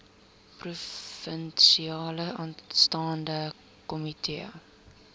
provinsiale staande komitee